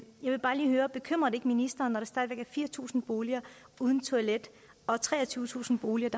vil bare lige høre bekymrer det ikke ministeren når der stadig væk er fire tusind boliger uden toilet og treogtyvetusind boliger